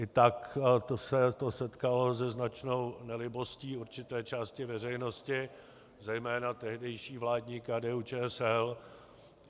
I tak se to setkalo se značnou nelibostí určité části veřejnosti, zejména tehdejší vládní KDU-ČSL.